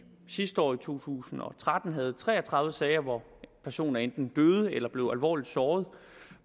sidste år i to tusind og tretten havde tre og tredive sager hvor personer enten døde eller blev alvorligt såret